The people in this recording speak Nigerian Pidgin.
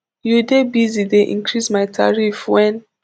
you dey busy dey increase my tariff wen